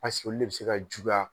Paseke de bi se ka juguya